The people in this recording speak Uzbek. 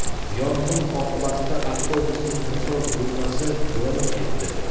Yong‘in oqibatida avtobusning motor bo‘lmasi yonib ketdi.